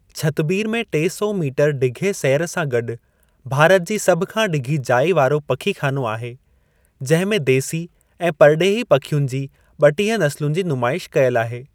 छतबीर में टे सौ मीटर ढिघे सैर सां गॾु भारत जी सभ खां ढिघी जाइ वारो पखीख़ानो आहे, जंहिं में देसी ऐं परिडे॒ही पखियुनि जी ॿटिह नसलुनि जी नुमाइश कयलु आहे।